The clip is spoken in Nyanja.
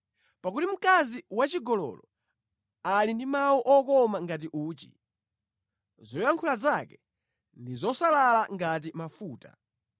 Pakuti mkazi wachigololo ali ndi mawu okoma ngati uchi. Zoyankhula zake ndi zosalala ngati mafuta,